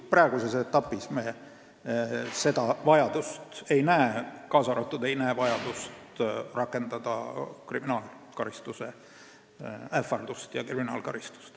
Praeguses etapis me seda vajadust ei näe, kaasa arvatud vajadust rakendada kriminaalkaristuse ähvardust või kriminaalkaristust.